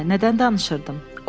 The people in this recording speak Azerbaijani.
Hə, nədən danışırdım?